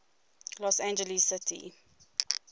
los angeles city